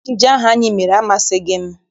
Ejije ahụ anyị mere amasịghị m.